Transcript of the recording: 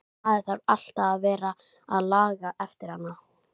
Lóa: Það semsagt stendur til að sá í þetta?